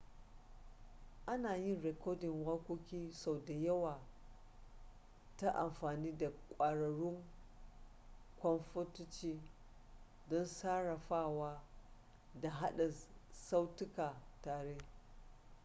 ana yin rikodin waƙoƙi sau da yawa ta amfani da ƙwararrun kwamfutoci don sarrafawa da haɗa sautuka tare